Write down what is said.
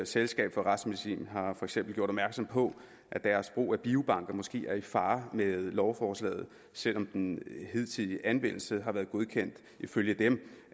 selskab for retsmedicin har for eksempel gjort opmærksom på at deres brug af biobank måske er i fare med lovforslaget selv om den hidtidige anvendelse har været godkendt ifølge dem